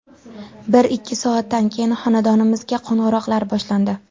Bir-ikki soatdan keyin xonadonimizga qo‘ng‘iroqlar boshlandi.